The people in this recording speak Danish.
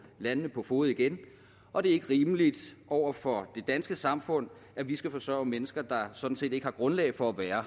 landene på fode igen og det er ikke rimeligt over for det danske samfund at vi skal forsørge mennesker der sådan set ikke har grundlag for at være